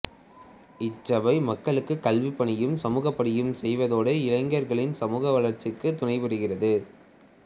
இச்சபை மக்களுக்கு கல்விப் பணியும் சமூகப்பணியும் செய்வதோடு இளைஞர்களின் சமூக வளாச்சிக்கு துணைபுரிகிறது